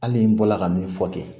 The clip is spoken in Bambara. Hali n bɔla ka min fɔ ten